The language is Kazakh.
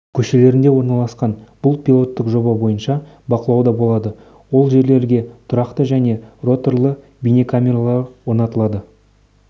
көшелерінде орналасқан бұл пилоттық жоба бойынша бақылауда болады ол жерлерге тұрақты және роторлы бейнекамералар орнатылады